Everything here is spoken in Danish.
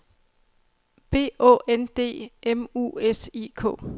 B Å N D M U S I K